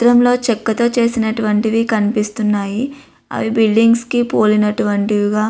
ఈ చిత్రంలో చెక్కతో చేసినటువంటివి కనిపిస్తున్నాయి. అవి బిల్డింగ్స్ కి పోలినటువంటివిగా --